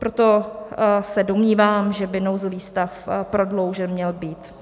Proto se domnívám, že by nouzový stav prodloužen měl být.